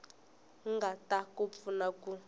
nga ta ku pfuna ku